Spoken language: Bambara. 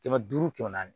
Kɛmɛ duuru kɛmɛ naani